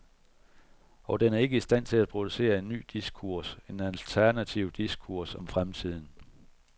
Og den er ikke i stand til at producere en ny diskurs, en alternativ diskurs om fremtiden.